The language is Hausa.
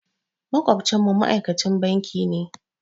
Maƙwabcinmu ma'aikacin banki ne.